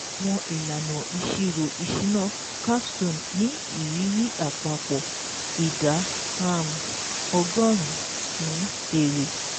Àwọn ìlànà ìṣirò ìṣúná CAPSTONE ní ìrírí àpapọ̀ ìdá um ọgọ́rùn-ún èrè